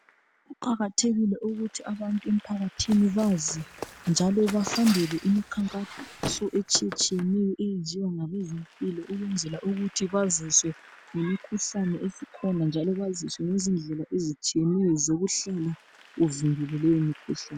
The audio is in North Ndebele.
Kuqakathekile ukuthi abantu emphakathini bazi njalo bahambele imikhankaso etshiyetshiyeneyo eyenziwa ngabezempilo ukuwenzela baziswe ngemikhuhlane esikhona, njalo baziswe ngezindlela ezitshiyeneyo zokuhlala uvikelwe kuleyo mikhuhlane.